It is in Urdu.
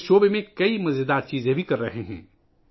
وہ اس شعبے میں بہت مزے کی چیزیں بھی کر رہے ہیں